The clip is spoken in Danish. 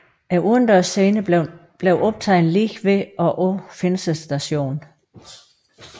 Udendørsscenerne blev optaget lige ved og på Finse station